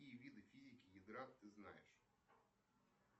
какие виды физики ядра ты знаешь